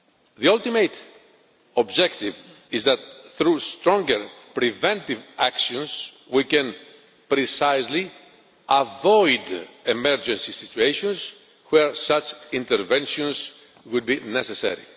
The ultimate objective is that, through stronger preventive actions, we can precisely avoid emergency situations where such interventions would be necessary.